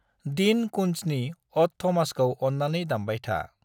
Dean कुन्ट्जनि अड थमासखौ अन्नानै दामबायथा।